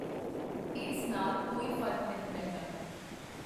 ਇਸ ਨਾਲ ਕੋਈ ਫਰਕ ਨਹੀਂ ਪੈਂਦਾ।